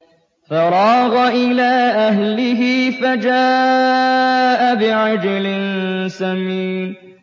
فَرَاغَ إِلَىٰ أَهْلِهِ فَجَاءَ بِعِجْلٍ سَمِينٍ